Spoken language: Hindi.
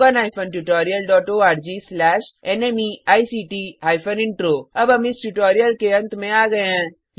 httpspoken tutorialorgNMEICT Intro अब हम इस ट्यूटोरियल के अंत में आ गये हैं